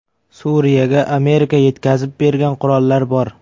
Suriyaga Amerika yetkazib bergan qurollar bor.